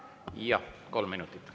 Jaa, kolm minutit.